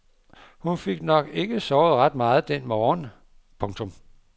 Hun fik nok ikke sovet ret meget den morgen. punktum